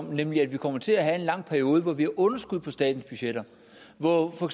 nemlig at vi kommer til at have en lang periode hvor vi har underskud på statens budgetter og hvor